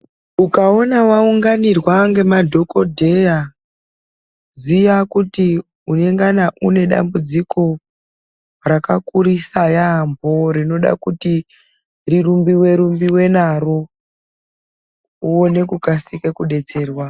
Ukawona wawunganirwa ngemadhokodheya ,ziya kuti unengana unedambudziko rakakurisa yaambo rinoda kuti rirumbiwe rumbiwe naro ,uwone kukasira kudetserwa